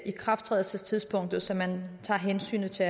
ikrafttrædelsestidspunktet så man tager hensyn til